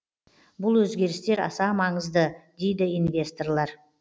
бұл өзгерістер аса маңызды дейді инвесторлар